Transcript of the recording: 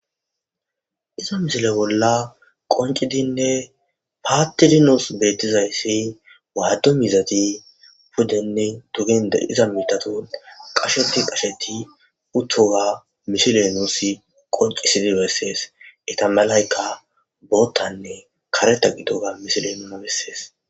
Haysa missile bola qonc'idine patidi nus betizaysi wadu miizati pudene dugen de'za mitatun qasheti qasheti uthoga missile nus qonc'isidi beses eta malayka bootane karetha gidoga missiley nuna beses.